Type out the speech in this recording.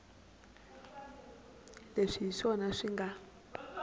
leswi hi swona swi nga